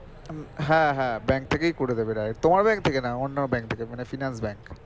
হ্যাঁ হ্যাঁ bank থেকেই করে দেবে direct তোমার bank থেকে না অন্য bank থেকে মানে finance bank